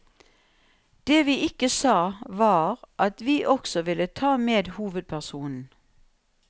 Det vi ikke sa, var at vi også ville ta med hovedpersonen.